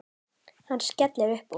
Hann skellir upp úr.